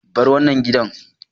Bar wannan gidan!